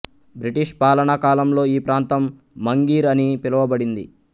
British పాలనా కాలంలో ఈ ప్రాంతం మంఘిర్ అని పిలువబడింది